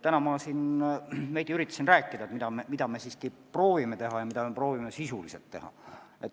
Täna ma siin veidi üritasin rääkida, mida me siiski proovime teha, mida me proovime just sisuliselt teha.